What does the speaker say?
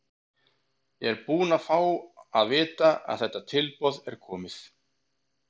Ég er bara búinn að fá að vita að þetta tilboð er komið.